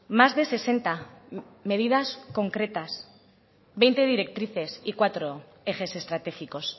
más de sesenta medidas concretas veinte directrices y cuatro ejes estratégicos